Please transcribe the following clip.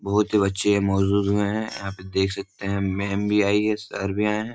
''बहुत ही बच्चे महजूद में हैं । यहाँ पे देख सकते हैं मैम भी आई है सर भी आये हैं ।''